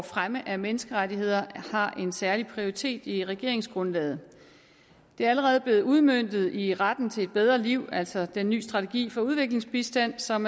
fremme af menneskerettigheder har en særlig prioritet i regeringsgrundlaget det er allerede blevet udmøntet i retten til et bedre liv altså den nye strategi for udviklingsbistand som